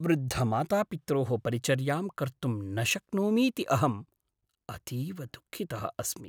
वृद्धमातापित्रोः परिचर्यां कर्तुं न शक्नोमीति अहम् अतीव दुःखितः अस्मि।